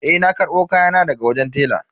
Eh na karbo kayana daga wajen tela.